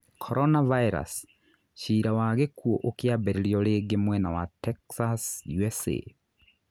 Corona virus: Ciira wa gĩkuũ ũkĩambĩrĩrio rĩngĩ mwena wa Texas USA